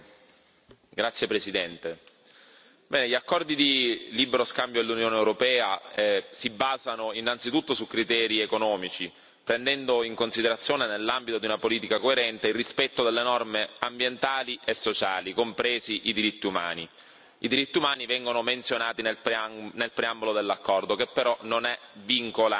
Signor Presidente, onorevoli colleghi, gli accordi di libero scambio dell'Unione europea si basano innanzitutto su criteri economici, prendendo in considerazione, nell'ambito della politica coerente, il rispetto delle norme ambientali e sociali, compresi i diritti umani. I diritti umani vengono menzionati nel preambolo dell'accordo, che però non è vincolante.